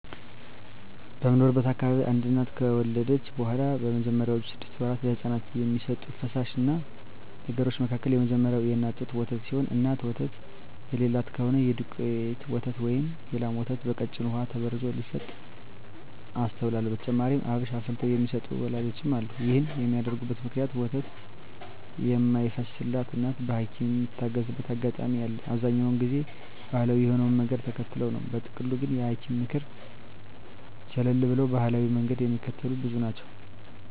በምኖርበት አካባቢ አንድ እናት ከወለደች በኋላ በመጀመሪያወቹ ስድስት ወራት ለህጻናት ከሚሰጡ ፈሳሽ ነገሮች መካከል የመጀመሪያው የእናት ጡት ወተት ሲሆን እናት ወተት የለላት ከሆነች የዱቄት ወተት ወይም የላም ወተት በቀጭኑ በውሃ ተበርዞ ሲሰጥ አስተውላለው። በተጨማሪም አብሽ አፍልተው የሚሰጡ ወላጆችም አሉ። ይህን የሚያደርጉበት ምክንያት ወተት የማይፈስላት እናት በሀኪምም ምትታዘዝበት አጋጣሚ አለ፤ በአብዛኛው ግን ባሀላዊ የሆነውን መንገድ ተከትለው ነው። በጥቅሉ ግን የሀኪምን ምክር ቸለል ብለው ባሀላዊውን መንገድ ሚከተሉ ብዙ ናቸው።